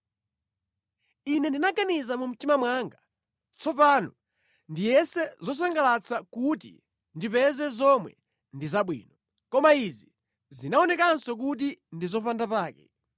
Ine ndinaganiza mu mtima mwanga, “Tsopano ndiyese zosangalatsa kuti ndipeze zomwe ndi zabwino.” Koma izi zinaonekanso kuti ndi zopandapake.